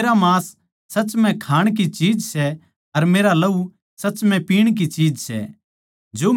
क्यूँके मेरा मांस सच म्ह खाण की चीज सै अर मेरा लहू सच म्ह पीवण की चीज सै